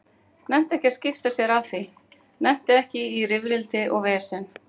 Nennti ekki að skipta sér af því, nennti ekki í rifrildi og vesen.